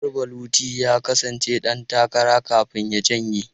Garba Luti ya kasance dan takara kafin ya janye.